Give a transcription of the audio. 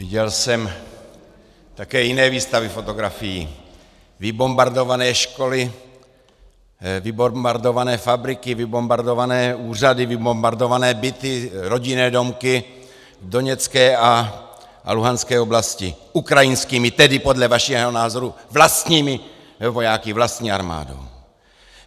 Viděl jsem také jiné výstavy fotografií - vybombardované školy, vybombardované fabriky, vybombardované úřady, vybombardované byty, rodinné domky v doněcké a luhanské oblasti - ukrajinskými, tedy podle vašeho názoru vlastními vojáky, vlastní armádou.